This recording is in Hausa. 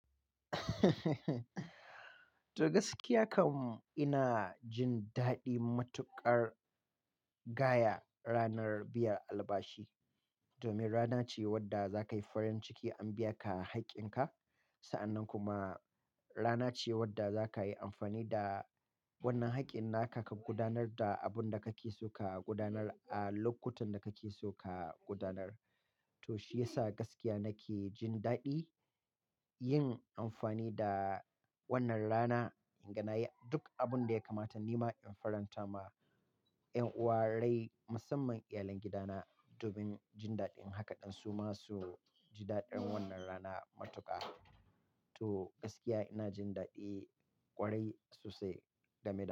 To gaskiya kam ina jin daɗi matuƙar gaya ranar biyar albashi domin rana ce wadda za ka yi uhuru ciki an biya ka haƙƙin ka. Sa'annan kuma rana ce wadda za ka yi amfani da wannan haƙƙin naka ka gudanar da abun da kake so ka gudanar a lokutan da kake so ka gudanar. To shiyasa gaskiya nake jin daɗi yin amfani da wannan rana in ganaya duk abin da ya kamata nima in faranta ma 'yan uwarai musamman iyalan gidana domin jin daɗin haka ɗan su ma su ji daɗin wannan rana matuƙa. To gaskiya ina jin daɗi kwarai sosai game da.